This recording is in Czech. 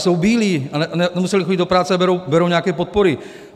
Jsou bílí, nemuseli chodit do práce a berou nějaké podpory.